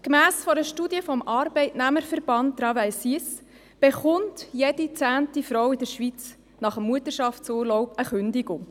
Gemäss einer Studie des Arbeitnehmerverbands TravailSuisse erhält jede zehnte Frau in der Schweiz nach dem Mutterschaftsurlaub die Kündigung.